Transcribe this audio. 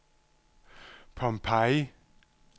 Pompeii